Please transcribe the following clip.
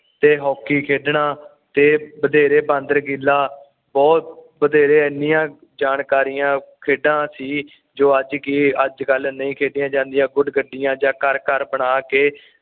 ਤੇ ਹਾਕੀ ਖੇਡਣਾ ਤੇ ਬਥੇਰੇ ਬਾਂਦਰ ਕਿਲ੍ਹਾ ਬੁਹਤ ਬਥੇਰੇ ਏਨੀਆਂ ਜਾਣਕਾਰੀਆਂ ਖੇਡਾਂ ਸੀ ਜੋ ਅੱਜ ਕਿ ਅੱਜ ਕੱਲ ਨਹੀਂ ਖੇਡੀਆਂ ਜਾਂਦੀਆਂ ਬੁਡ ਗੱਡੀਆਂ ਜਾ ਘਰ ਘਰ ਬਣਾ ਕੇ